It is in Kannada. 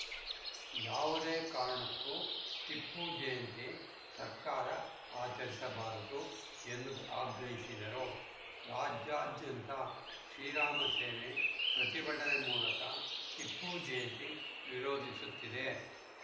ಯಾವುದೇ ಕಾರಣಕ್ಕೂ ಟಿಪ್ಪು ಜಯಂತಿ ಸರ್ಕಾರ ಆಚರಿಸಬಾರದು ಎಂದು ಆಗ್ರಹಿಸಿದರು ರಾಜ್ಯಾದ್ಯಂತ ಶ್ರೀರಾಮ ಸೇನೆ ಪ್ರತಿಭಟನೆ ಮೂಲಕ ಟಿಪ್ಪು ಜಯಂತಿ ವಿರೋಧಿಸುತ್ತಿದೆ